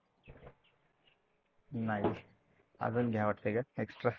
नाही अजून घ्या वाटते का Extra?